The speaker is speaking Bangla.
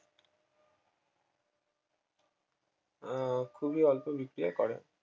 আহ খুবই অল্প বিক্রিয়া করে